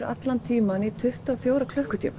allan tímann í tuttugu og fjóra klukkutíma